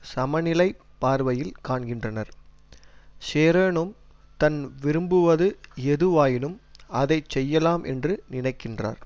சமநிலைப் பார்வையில் காண்கின்றனர் ஷரேனும் தன் விரும்புவது எதுவாயினும் அதைச்செய்யலாம் என்று நினைக்கின்றார்